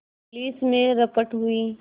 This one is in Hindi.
पुलिस में रपट हुई